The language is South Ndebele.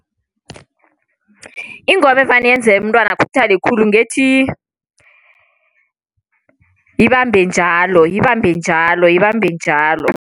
Ingoma evane yenzeke umntwana akhuthale khulu ngethi, ibambe njalo, ibambe njalo, ibambe njalo.